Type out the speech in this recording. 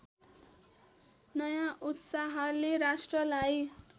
नयाँ उत्साहले राष्ट्रलाई